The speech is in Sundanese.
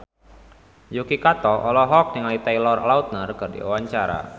Yuki Kato olohok ningali Taylor Lautner keur diwawancara